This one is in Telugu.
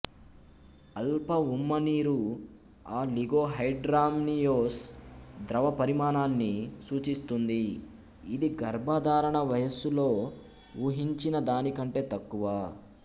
అల్ప ఉమ్మనీరు ఆ లిగోహైడ్రామ్నియోస్ ద్రవ పరిమాణాన్ని సూచిస్తుంది ఇది గర్భధారణ వయస్సులో ఊ హించిన దానికంటే తక్కువ